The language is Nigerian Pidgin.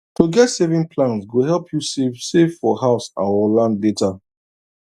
to get savings plan go help you save save for house or land later